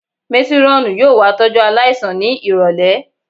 Métírọ́ọ̀nù yóò wá tọ́jú aláìsàn ní ìrọ̀lẹ̀